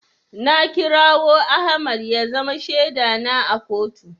Na kirawo Ahmad ya zama shaida na a kotu.